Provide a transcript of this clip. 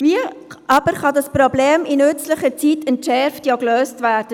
Wie aber kann das Problem in nützlicher Frist entschärft, ja, gelöst werden?